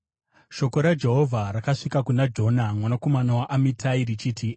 Shoko raJehovha rakasvika kuna Jona mwanakomana waAmitai, richiti,